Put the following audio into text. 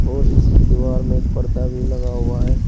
और इसकी दीवार में एक सारा पर्दा भी लग हुआ है।